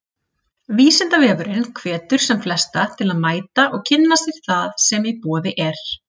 Vísindavefurinn hvetur sem flesta til að mæta og kynna sér það sem í boði er.